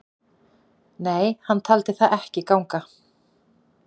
Nei, hann taldi það ekki að ganga.